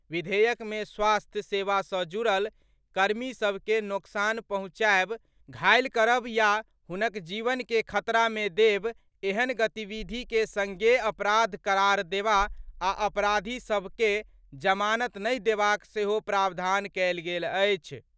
विधेयक मे स्वास्थ्य सेवा सँ जुड़ल कर्मी सभ के नोकसान पहुंचाएब, घायल करब या हुनक जीवन के खतरा मे देब ऐहेन गतिविधि के संज्ञेय अपराध करार देबा आ अपराधी सभ के जमानत नहि देबाक सेहो प्रावधान कएल गेल अछि।